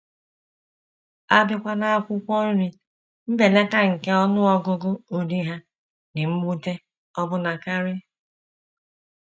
A bịakwa n’akwụkwọ nri, mbelata nke ọnụ ọgụgụ ụdị ha dị mwute ọbụna karị.